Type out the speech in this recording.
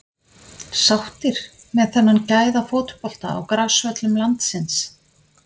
Sáttir með þennan gæða fótbolta á grasvöllum landsins?